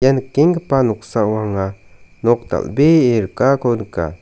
nikenggipa noksao anga nok dal·bee rikako nika.